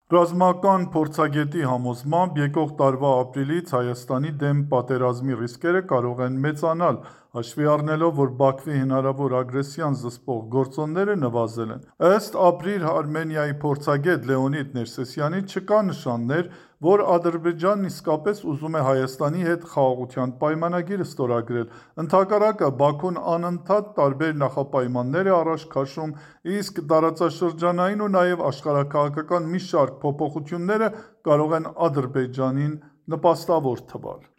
Ռազմական փորձագետի համոզմամբ՝ եկող տարվա ապրիլից Հայաստանի դեմ պատերազմի ռիսկերը կարող են մեծանալ՝ հաշվի առնելով, որ Բաքվի հնարավոր ագրեսիան զսպող գործոնները նվազել են: Բացի այն, որ COP -ը՝ ՄԱԿ-ի կլիմայի փոփոխության գագաթնաժողովն այլևս անցյալում է, ըստ «ԱՊՐԻ Արմենիա»-ի փորձագետ Լեոնիդ Ներսիսյանի, չկան նշաններ, որ Ադրբեջանն իսկապես ուզում է Հայաստանի հետ խաղաղության պայմանագիր ստորագրել։ Ընդհակառակը՝ Բաքուն անընդհատ տարբեր նախապայմաններ է առաջ քաշում: Իսկ տարածաշրջանային ու նաև աշխարհաքաղաքական մի շարք փոփոխությունները կարող են Ադրբեջանին նպաստավոր թվալ: